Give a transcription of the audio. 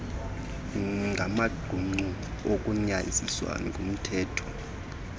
ngamaqumrhu agunyaziswe ngumthetho